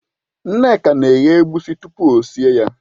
Nneka na-eghe egusi tupu o sie ya.